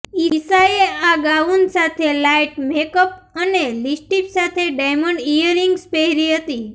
ઇશાએ આ ગાઉન સાથે light makeup અને લિપસ્ટિક સાથે ડાયમંડ ઇયરરિંગ્સ પહેરી હતી